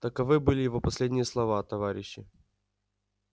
таковы были его последние слова товарищи